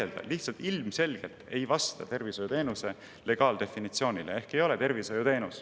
Ei ole võimalik vaielda: see ilmselgelt ei vasta tervishoiuteenuse legaaldefinitsioonile ehk ei ole tervishoiuteenus.